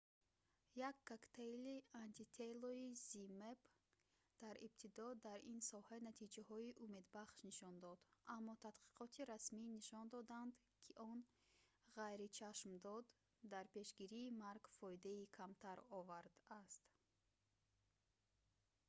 як коктейли антителои zmapp дар ибтидо дар ин соҳа натиҷаҳои умедбахш нишон дод аммо таҳқиқоти расмӣ нишон доданд ки он ғайричашмдошт дар пешгирии марг фоидаи камтар овард аст